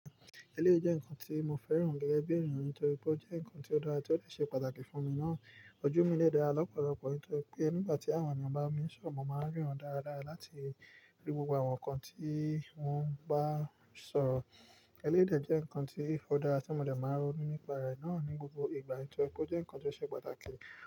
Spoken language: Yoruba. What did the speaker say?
Eléyi jẹ́ ǹkan tí mo fẹ́ràn gẹ́gẹ́ bí ènìyàn nítorí pé ó jẹ́ ǹkan tó dára tí ó le ṣe pàtàkì fún mi ná. Ojú mi lè dára lọ́pọ̀lọpọ̀ nítorí pé nígbà tí àwọn ènìyàn bá mi ṣòmo, màá rí ran dára lára láti rí gbogbo àwọn ǹkan tí wọ́n bá sọ. Elédè jẹ́ ǹkan tí ó dára tí mo dẹ̀ máa ń ronu nípa rẹ̀ náà ní gbogbo ìgbà nítorí pé ó jẹ́ ǹkan tó ṣe pàtàkì.